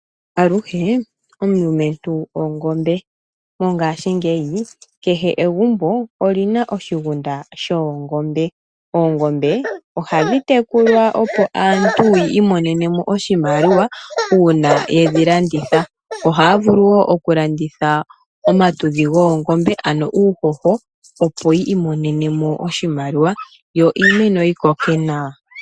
Aluhe omulumentu ongombe. Mongaashingeyi kehe egumbo oli na oshigunda shoongombe. Oongombe ohadhi tekulwa opo aantu yi imonene mo oshimaliwa uina yedhi landitha. Ihaya vulu wo oku landitha omatudhi goongombe, ano uuhoho opo yi imonene mo oshimaliwa yo iimeno yi koke nawa.